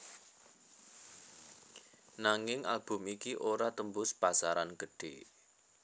Nanging album iki ora tembus pasaran gedhe